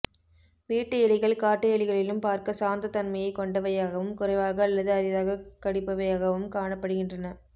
வீட்டு எலிகள் காட்டு எலிகளிலும் பார்க்க சாந்தத் தன்மையைக் கொண்டவையாகவும் குறைவாக அல்லது அரிதாகக் கடிப்பவையாகவும் காணப்படுகின்றன